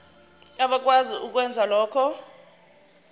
abakwazi ukwenza lokhu